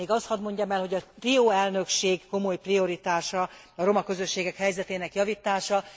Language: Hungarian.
Még azt hadd mondjam el, hogy a trió elnökség komoly prioritása a roma közösségek helyzetének javítása.